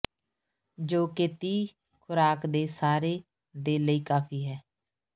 ਜੋ ਕਿ ਤੀਹ ਖੁਰਾਕ ਦੇ ਸਾਰੇ ਦੇ ਲਈ ਕਾਫ਼ੀ ਹੈ